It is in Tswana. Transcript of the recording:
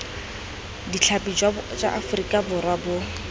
ditlhapi jwa aforika borwa bo